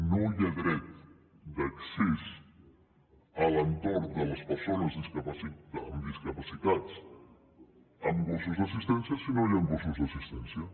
no hi ha dret d’accés a l’entorn de les persones amb discapacitats amb gossos d’assistència si no hi han gossos d’assistència